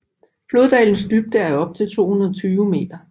Floddalens dybde er op til 220 m